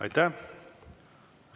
Aitäh!